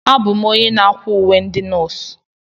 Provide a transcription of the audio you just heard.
Abụ m onye na-akwa uwe ndị nọọsụ.